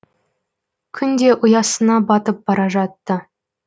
күн де ұясына батып бара жатты